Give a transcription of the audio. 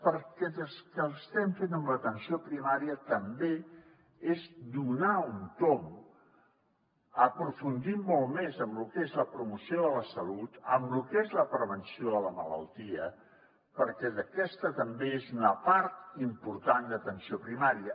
perquè el que estem fent en l’atenció primària també és donar un tomb aprofundim molt més en lo que és la promoció de la salut en lo que és la prevenció de la malaltia perquè aquesta també és una part important de l’atenció primària